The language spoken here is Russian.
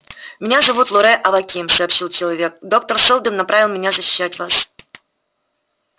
меня зовут лоре аваким сообщил человек доктор сэлдон направил меня защищать вас